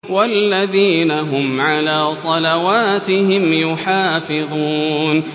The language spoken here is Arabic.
وَالَّذِينَ هُمْ عَلَىٰ صَلَوَاتِهِمْ يُحَافِظُونَ